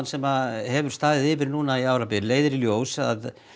sem hefur staðið yfir núna um árabil leiðir í ljós að